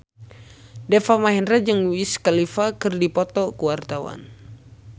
Deva Mahendra jeung Wiz Khalifa keur dipoto ku wartawan